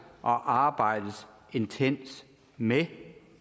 og arbejdes intenst med